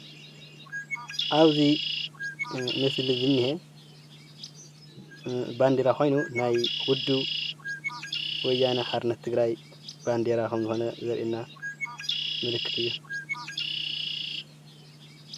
ኣብዚ ምስሊ ዝኒሀ ባንዴራ ኮይኑ ናይ ውድብ ወያነ ሓርነት ትግራይ ባንዴራ ከም ዝኮነ ዘርእየና ምልክት እዩ፡፡